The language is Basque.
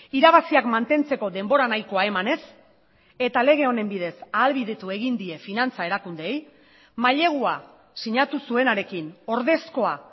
irabaziak mantentzeko denbora nahikoa eman ez eta lege honen bidez ahalbidetu egin die finantza erakundeei mailegua sinatu zuenarekin ordezkoa